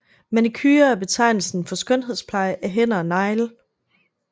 Manicure er betegnelsen for skønhedspleje af hænder og negle